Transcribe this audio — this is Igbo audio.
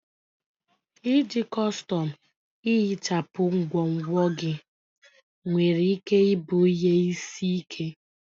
Iji kọstọm ihichapụ ngwongwo gị nwere ike ịbụ ihe isi ike.